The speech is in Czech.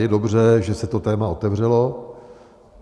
Je dobře, že se to téma otevřelo.